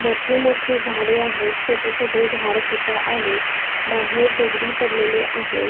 मोठे मोठे झाडे आहेत छोटे छोटे झाडसुद्धा आहेत बाहेर दगडी पडलेले आहेत.